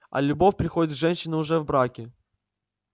а любовь приходит к женщине уже в браке